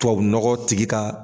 Tubabunɔgɔ tigi ka